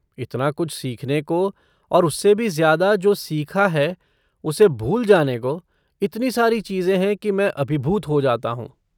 इतना कुछ सीखने को और उससे भी ज़्यादा जो सीखा है उसे भूल जाने को, इतनी सारी चीजें है कि मैं अभिभूत हो जाता हूँ।